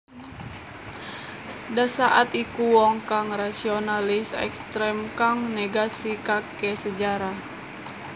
Dasaad iku wong kang rasionalis ekstrem kang negasikake sejarah